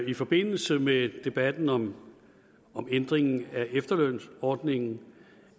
i forbindelse med debatten om ændringen af efterlønsordningen